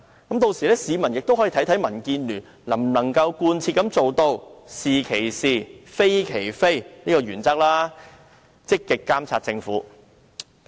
屆時市民就可看到民建聯能否貫徹"是其是，非其非"的原則，積極監察政府。